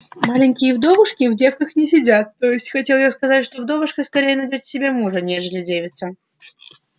маленькие вдовушки в девках не сидят то есть хотел я сказать что вдовушка скорее найдёт себе мужа нежели девица